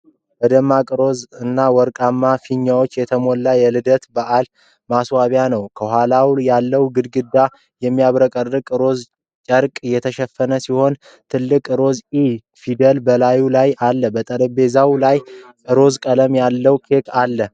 በደማቅ ሮዝ እና ወርቃማ ፊኛዎች የተሞላ የልደት በዓል ማስዋቢያ ነው። ከኋላ ያለው ግድግዳ በሚያብረቀርቅ ሮዝ ጨርቅ የተሸፈነ ሲሆን፣ ትልቅ ሮዝ “ኢ” ፊደል በላዩ ላይ አለ። በጠረጴዛው ላይ ሮዝ ቀለም ያለው ኬክ አለ፡፡